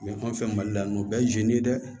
anw fɛ mali la yan nɔ o bɛɛ ye ye dɛ